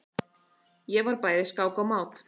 Ég var bæði skák og mát.